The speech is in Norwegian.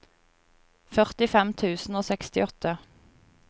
førtifem tusen og sekstiåtte